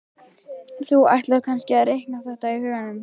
Þú ætlar kannski að reikna þetta í huganum?